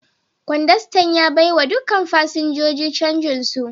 Kwandastan ya baiwa dukkan fasinjojin canjin su.